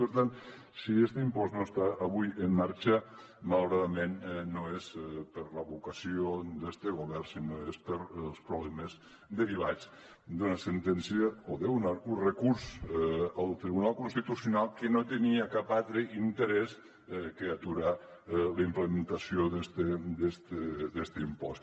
per tant si este impost no està avui en marxa malauradament no és per la vocació del govern sinó que és pels problemes derivats d’una sentència o d’un recurs al tribunal constitucional que no tenia cap altre interès que aturar la implementació d’este impost